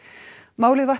málið vatt